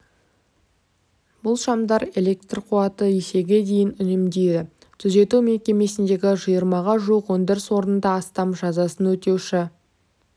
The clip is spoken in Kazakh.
бұл шамдар электр қуатын есеге дейін үнемдейді түзету мекемесіндегі жиырмаға жуық өндіріс орнында астам жазасын өтеуші